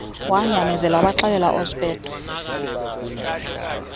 wanyamezela wabaxelela oospeedo